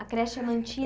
A creche é